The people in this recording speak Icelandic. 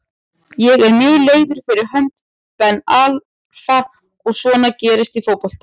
Ég er mjög leiður fyrir hönd Ben Arfa en svona gerist í fótbolta.